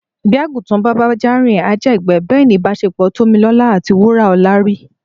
Bí àgùntàn bá bájá rìn á jẹ̀gbẹ́. Bẹ́ẹ̀ ni ìbáṣepọ̀ Tómilọ́lá àti Wúràọlá rí.